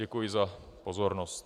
Děkuji za pozornost.